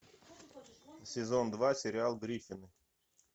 сезон два сериал гриффины